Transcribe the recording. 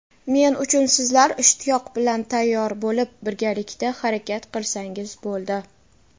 Men uchun sizlar ishtiyoq bilan tayyor bo‘lib birgalikda harakat qilsangiz bo‘ldi.